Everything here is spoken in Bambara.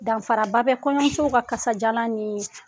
Danfara ba bɛ kɔɲɔmusow ka kasajalan niii